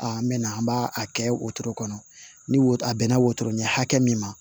Aa n bɛ na an b'a kɛ wotoro kɔnɔ ni woto a bɛn na wotoro ɲɛ hakɛ min ma